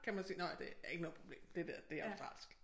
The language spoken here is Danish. Kan man sige nåh ja det er ikke noget problem det det det er australsk